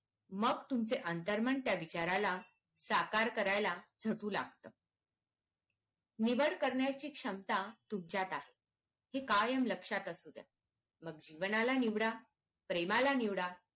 मग तुमचे आंतरमन त्या विचारला साकार करायला झटू लागत निवड करण्याची क्षमता तुमच्यात आहे हे कायम लक्षात असू द्दा मग जीवनाला निवडा प्रेमाला निवडा